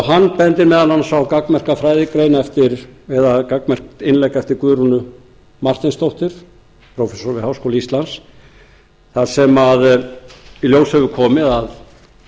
hann bendir meðal annars á gagnmerka fræðigrein eða gagnmerkt innlegg eftir guðrúnu marteinsdóttur prófessor við háskóla íslands þar sem í ljós hefur komið að